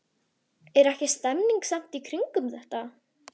Kristján: Er ekki stemning samt í kringum þetta?